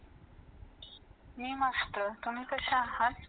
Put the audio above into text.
आपल्या घरांमध्ये वीज नव्हती. garage पेटवण्यासाठी रॉकेलचा वापर करायचो.